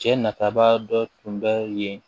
Cɛ nafaba dɔ tun bɛ yen